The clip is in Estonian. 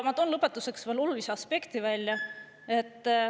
Ma toon lõpetuseks veel olulise aspekti välja.